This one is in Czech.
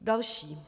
Další.